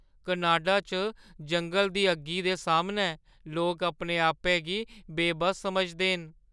Canada च जंगल दी अग्गी दे सामनै लोक अपने-आपै गी बेबस समझदे न।